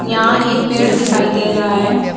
यहां एक पेड़ दिखाई दे रहा है।